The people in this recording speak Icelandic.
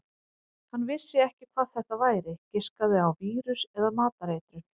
Hann vissi ekki hvað þetta væri, giskaði á vírus eða matareitrun.